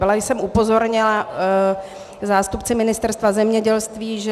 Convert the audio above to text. Byla jsem upozorněna zástupci Ministerstva zemědělství, že -